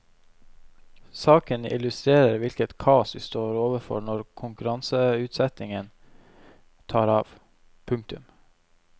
Saken illustrerer hvilket kaos vi står overfor når konkurranseutsettingen tar av. punktum